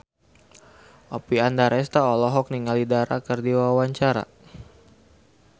Oppie Andaresta olohok ningali Dara keur diwawancara